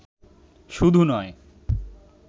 শুধু নয়